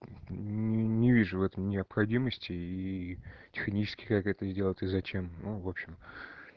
не вижу в этом необходимости и технически как это сделать и зачем ну в общем